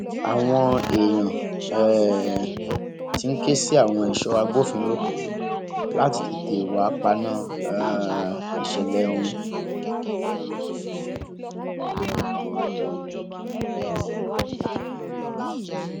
àwọn èèyàn um ti ń ké sí àwọn èso agbófinró láti tètè wáá paná um ìṣẹlẹ ọhún